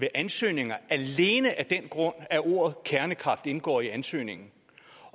ansøgninger alene af den grund at ord kernekraft indgår i ansøgningen